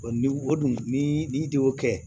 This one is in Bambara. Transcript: O ni o dun ni i de y'o kɛ